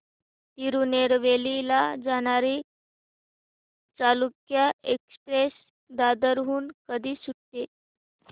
तिरूनेलवेली ला जाणारी चालुक्य एक्सप्रेस दादर हून कधी सुटते